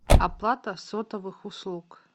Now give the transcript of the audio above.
оплата сотовых услуг